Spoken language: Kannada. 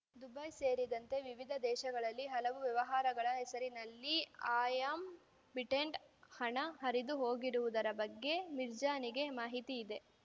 ದುಬೈ ಸೇರಿದಂತೆ ವಿವಿಧ ದೇಶಗಳಲ್ಲಿ ಹಲವು ವ್ಯವಹಾರಗಳ ಹೆಸರಿನಲ್ಲಿ ಆ್ಯಂ ಬಿಡೆಂಟ್‌ ಹಣ ಹರಿದು ಹೋಗಿರುವುದರ ಬಗ್ಗೆ ಮಿರ್ಜಾನಿಗೆ ಮಾಹಿತಿ ಇದೆ